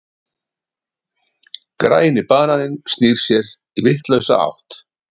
Græni bananinn snýr sér í vitlausa átt.